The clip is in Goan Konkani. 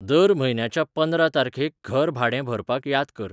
दर म्हयन्याच्या पंदरा तारखेक घर भाडें भरपाक याद कर.